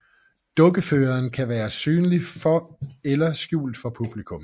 Dukkeføreren kan være synlig for eller skjult for publikum